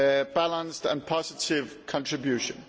balanced and positive contribution.